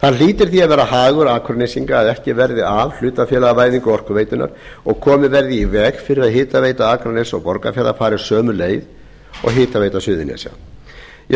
það hlýtur því að vera hagur akurnesinga að ekki verði af hlutafélagavæðingu orkuveitunnar og komið verði í veg fyrir að hitaveita akraness og borgarfjarðar fari sömu leið og hitaveita suðurnesja ég